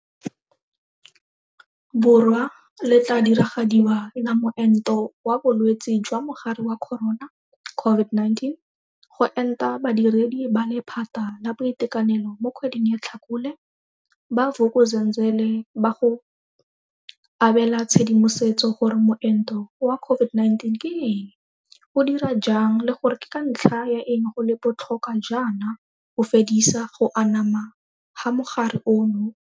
Borwa le tla diragadiwa la moento wa bolwetse jwa Mogare wa Corona CO VID-19 go enta badiredi ba lephata la boitekanelo mo kgweding ya Tlhakole, ba Vuk uzenzele ba go abe la tshedimosetso gore moento wa COVID-19 ke eng, o dira jang le gore ke ka ntlha ya eng go le bo tlhokwa jaana go fedisa go anama ga mogare ono.